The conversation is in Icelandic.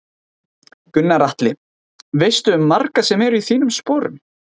Gunnar Atli: Veistu um marga sem eru í þínum sporun?